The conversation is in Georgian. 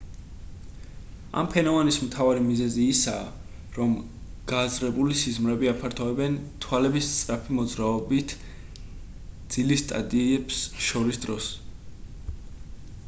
ამ ფენომენის მთავარი მიზეზია ის რომ გააზრებული სიზმრები აფართოებენ თვალების სწრაფი მოძრაობით ძილის სტადიებს შორის დროს